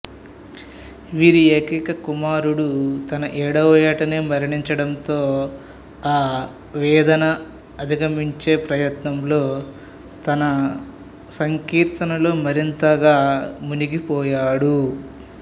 వీరి ఏకైక కుమారుడు తన ఏడవ యేటనే మరణించటంతో ఆ ఆవేదననధిగమించే ప్రయత్నంలో తన సంకీర్తనలో మరింతగా మునిగిపోయాడు